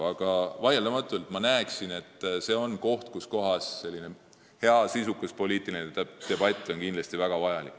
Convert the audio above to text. Aga ma näen, et see on see koht, kus hea, sisukas poliitiline debatt on vaieldamatult väga vajalik.